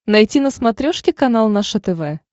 найти на смотрешке канал наше тв